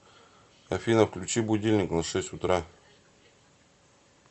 афина включи будильник на шесть утра